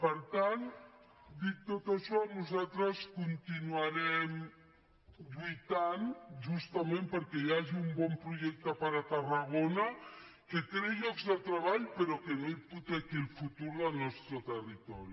per tant dit tot això nosaltres continuarem lluitant justament perquè hi hagi un bon projecte per a tarragona que creï llocs de treball però que no hipotequi el futur del nostre territori